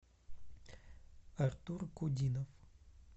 артур кудинов